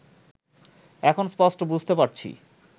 এখন স্পষ্ট বুঝতে পারছি